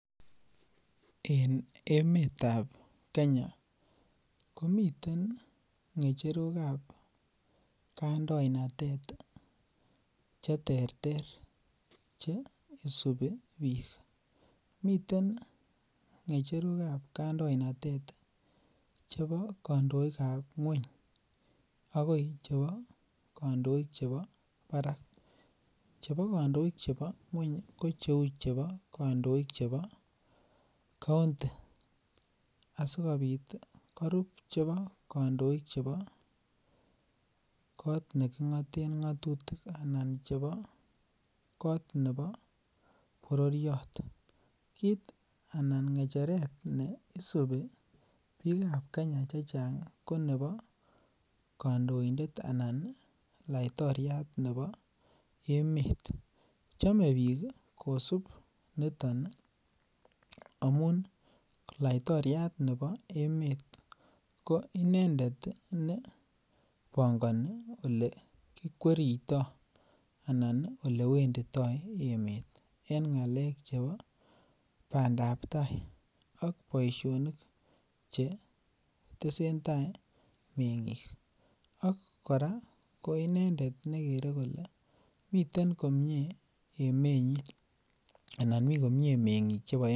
En emetab Kenya komiten ng'cherokab kandoinatet cheterter, cheisubi bik, miten ng'echerokab kandoinatet chebo kandoikab ng'uany akoi kandoik chebo barak. Chebo kandoikab ng'uany ko cheuu chebo county ih asikobit korub cheboo kandoikab neking'aten ng'atutik anan chebo kotot nebo bororiet anan ng'echeret nebo ak kandoindetab laitoriatab emeet, kosub amuun laitoriatab nebo Emmet ko inendet ih nebangoni olewendito emeet. Inendet nebangoni bandab tai ak boisionik chetesetai meng'ik ak koine nekere kole miten komie me'ngik chebo emet.